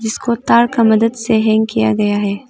इसको तार का मदद से हैंग किया गया है।